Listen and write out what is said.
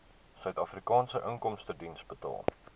suidafrikaanse inkomstediens betaal